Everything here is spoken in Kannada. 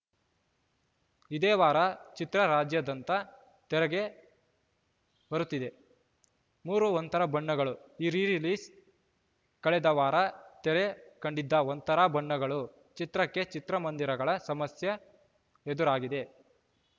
ಇದೇ ವಾರ ಚಿತ್ರ ರಾಜದಂತ ತೆರೆಗೆ ಬರುತ್ತಿದೆ ಮೂರು ಒಂಥರ ಬಣ್ಣಗಳು ರೀ ರಿಲೀಸ್‌ ಕಳೆದ ವಾರ ತೆರೆ ಕಂಡಿದ್ದ ಒಂಥರಾ ಬಣ್ಣಗಳು ಚಿತ್ರಕ್ಕೆ ಚಿತ್ರಮಂದಿರಗಳ ಸಮಸ್ಯೆ ಎದುರಾಗಿದೆ